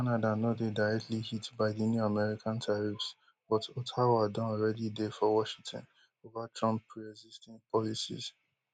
canada no dey directly hit by di new american tariffs but ottawa don already dey for washington ova trump preexisting policies